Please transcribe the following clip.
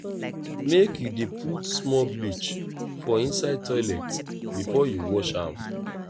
make you dey put small bleach for inside toilet before you wash am.